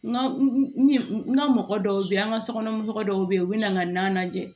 N ka n ka mɔgɔ dɔw be yen an ga sokɔnɔ mɔgɔ dɔw be yen u bi na n ka na lajɛ